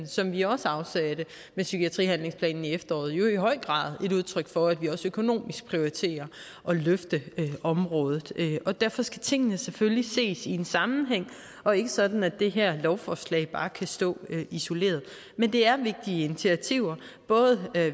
som vi også afsatte med psykiatrihandlingsplanen i efteråret jo i høj grad er et udtryk for at vi også økonomisk prioriterer at løfte området og derfor skal tingene selvfølgelig ses i en sammenhæng og ikke sådan at det her lovforslag bare kan stå isoleret men det er vigtige initiativer både